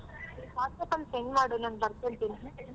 WhatsApp ಅಲ್ಲಿ send ಮಾಡು ನಾನು ಬರ್ಕೋತೀನಿ.